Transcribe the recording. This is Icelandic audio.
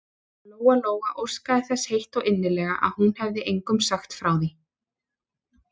Lóa-Lóa óskaði þess heitt og innilega að hún hefði engum sagt frá því.